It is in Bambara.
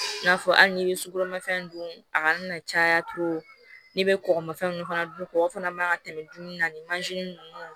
I n'a fɔ hali n'i ye sukoromafɛn dun a kana na caya ne be kɔkɔmafɛnw fana dun kɔgɔ fana man ka tɛmɛ dunani ninnu